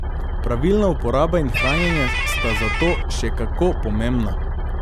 Pravilna uporaba in hranjenje sta zato še kako pomembna.